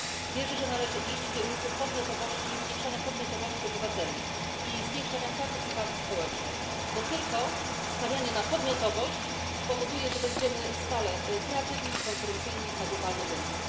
Wierzę, że należy iść w kierunku podmiotowości, zwiększenia podmiotowości obywateli i zwiększania partycypacji społecznej, bo tylko stawianie na podmiotowość spowoduje, że będziemy stale kreatywni i konkurencyjni na globalnym rynku.